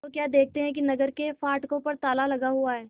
तो क्या देखते हैं कि नगर के फाटकों पर ताला लगा हुआ है